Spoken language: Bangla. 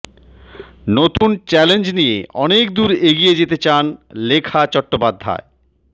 নতুন চ্যালেঞ্জ নিয়ে অনেক দূর এগিয়ে যেতে চান লেখা চট্টোপাধ্যায়